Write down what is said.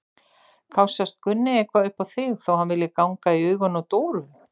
Kássast Gunni eitthvað upp á þig þótt hann vilji ganga í augun á Dóru?